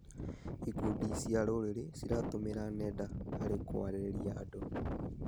Ikundi cia rũrĩrĩ ciratũmĩra nenda harĩ kũarĩria andũ.